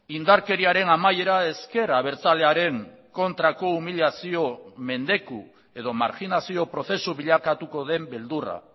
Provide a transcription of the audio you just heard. indarkeriaren amaiera ezker abertzalearen kontrako umilazio mendeku edo marginazio prozesu bilakatuko den beldurra